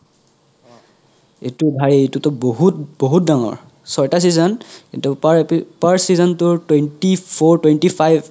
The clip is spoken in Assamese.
এইটো ভাই এইতোতো বহুত বহুত ডাঙৰ চইতা season কিন্তু per এপি per season তোৰ twenty four twenty five